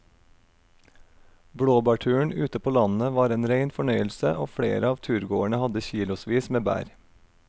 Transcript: Blåbærturen ute på landet var en rein fornøyelse og flere av turgåerene hadde kilosvis med bær.